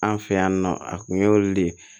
An fɛ yan nɔ a kun y'olu de ye